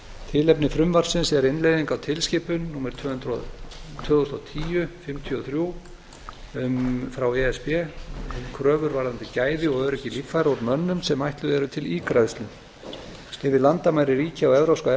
tilefni frumvarpsins er innleiðing á tilskipun númer tvö þúsund og tíu fimmtíu og þrjú e s b um kröfur varðandi gæði og öryggi líffæra úr mönnum sem eru ætluð til ígræðslu yfir landamæri ríkja á evrópska